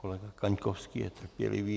Kolega Kaňkovský je trpělivý.